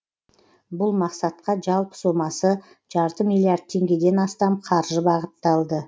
бұл мақсатқа жалпы сомасы жарты миллиард теңгеден астам қаржы бағытталды